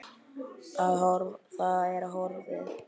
Að það er horfið!